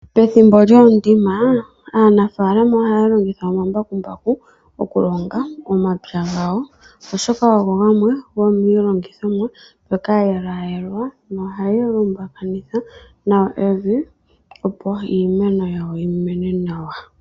Pethimbo lyoondima aanafaalama ohaya longitha omambakumbaku okulonga momapya gawo ,oshoka ogo gamwe gomiilongithomwa ndjoka ya yelwaayelwa nohaga lumbakanitha nawa evi opo iimeno yawo yimene nawa.